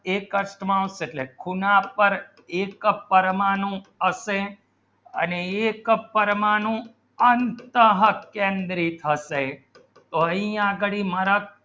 ખૂણા પર એક કપ પરમાણુ હશે અને એક પરમાણુ અંતઃ કેન્દ્રિત થશે